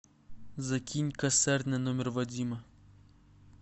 закинь косарь на номер вадима